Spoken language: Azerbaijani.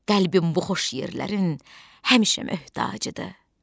Qəlbim bu xoş yerlərin həmişə möhtacıdır.